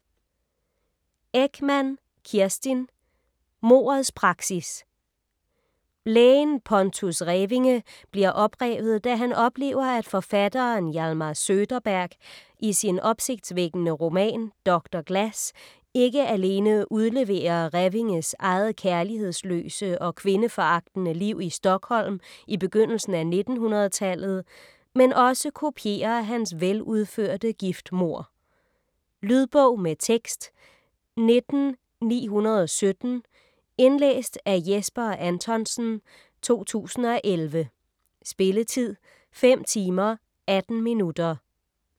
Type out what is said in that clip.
Ekman, Kerstin: Mordets praksis Lægen Pontus Revinge bliver oprevet, da han oplever, at forfatteren Hjalmar Söderberg i sin opsigtsvækkende roman Doktor Glas ikke alene udleverer Revinges eget kærlighedsløse og kvindeforagtende liv i Stockholm i begyndelsen af 1900-tallet, men også kopierer hans veludførte giftmord. Lydbog med tekst 19917 Indlæst af Jesper Anthonsen, 2011. Spilletid: 5 timer, 18 minutter.